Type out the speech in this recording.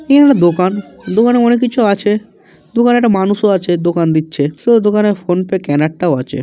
এ হল দোকান দোকান এ অনেক কিছু আছে দোকানে একটা মানুষও আছেদোকান দিচ্ছে সে দোকানে ফোন পে কেনার টাও আছে।